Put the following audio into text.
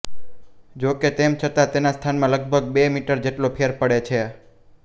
જો કે તેમ છતાં તેના સ્થાનમાં લગભગ બે મીટર જેટલો ફેર પડે છે